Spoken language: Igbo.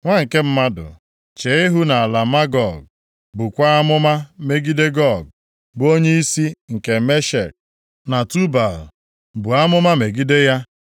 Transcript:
“Nwa nke mmadụ, chee ihu nʼala Magog, bukwaa amụma megide Gog, bụ onyeisi nke Meshek + 38:2 Ya bụ, Roshu na Tubal. Buo amụma megide ya,